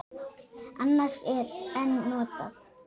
Annars er en notað.